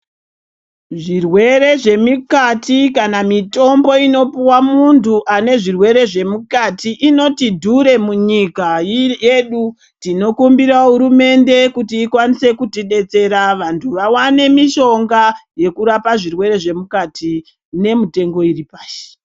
Zvirwere zvemikati kana mitombo inopuva muntu ane zvirwere zvemukati inoti dhure munyika yedu. Tinokumbira hurumende kuti ikwanise kutibetsera vantu vavane mishonga yekurapa zvirwere zvemukati nemitengo iri pashi.